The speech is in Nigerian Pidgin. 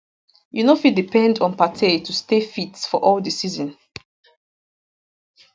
you no fit depend on partey to stay fit for all di season